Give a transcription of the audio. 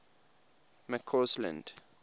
mccausland